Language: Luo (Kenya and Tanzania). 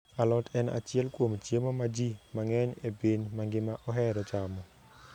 Alot en achiel kuom chiemo ma ji mang'eny e piny mangima ohero chamo.